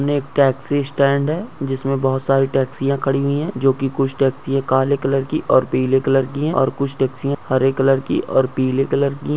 उने एक taxi stand है जिसमे बहुत सारी टॅक्सीया खड़ी हुई है जोकि कुछ टॅक्सीया काले कलर की और पीले कलर की है और कुछ टॅक्सीया हरे कलर की और पीले कलर की --